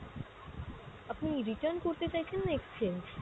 আপনি return করতে চাইছেন না exchange?